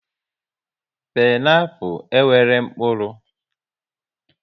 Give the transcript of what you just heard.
Pineaple e nwere mkpụrụ